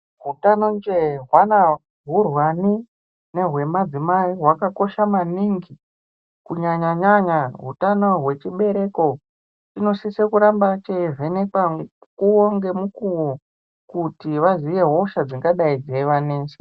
Hutano njee hwana hurwani nehwemadzimai hwakakosha maningi kunyanyanyanya hutano hwechibereko chinosise kuramba cheivhenekwa mukuwo ngemukuwo kuti vaziye hosha dzingadai dzeivanesa.